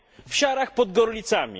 W Siarach pod Gorlicami.